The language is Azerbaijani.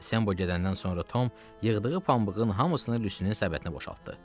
Sembo gedəndən sonra Tom yığdığı pambığın hamısını Lyusinin səbətinə boşaltdı.